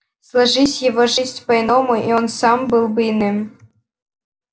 сложись его жизнь по иному и он сам был бы иным